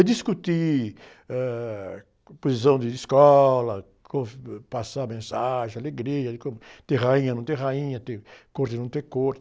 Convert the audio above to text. Discutir, ãh, composição de escola, passar mensagem, alegria, de como, ter rainha, não ter rainha, ter corte, não ter corte.